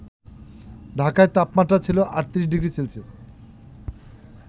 ঢাকায় তাপমাত্রা ছিল ৩৮ ডিগ্রি সেলসিয়াস